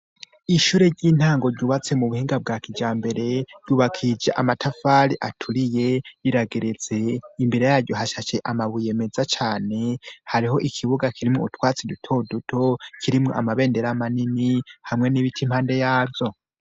Ishure ry'intango ryubatse mu buhinga bwa kija mbere ryubakije amatafari aturiye riragerese imbere yaryo hashashe amabuye meza cane hariho ikibuga kirimwo utwatsi dutoduto kirimwo amabendera amanini hamwe n'ibita impande yavyo.